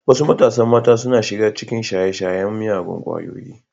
Wasu matasan mata suna shiga cikin shaye-shayen miyagun kwayoyi.